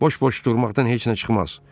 Boş-boş durmaqdan heç nə çıxmaz.